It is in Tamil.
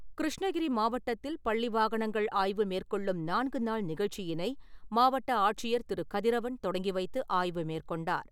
கிருஷ்ணகிரி மாவட்டத்தில் பள்ளி வாகனங்கள் ஆய்வு மேற்கொள்ளும் நான்கு நாள் நிகழ்ச்சியினை மாவட்ட ஆட்சியர் திரு கதிரவன் தொடங்கிவைத்து ஆய்வு மேற்கொண்டார்.